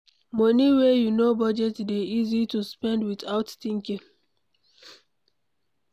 Money wey you no budget dey easy to spend without thinking